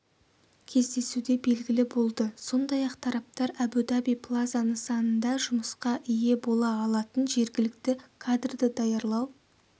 кездесуде белгілі болды сондай-ақ тараптар әбу-даби плаза нысанында жұмысқа ие бола алатын жергілікті кадрды даярлау